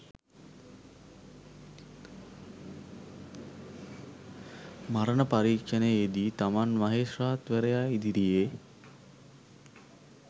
මරණ පරීක්ෂණයේදී තමන් මහේස්ත්‍රාත්වරයා ඉදිරියේ